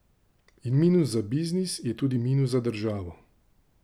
In minus za biznis je tudi minus za državo.